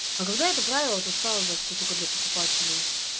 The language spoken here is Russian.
а когда это правило то стало быть что только для покупателей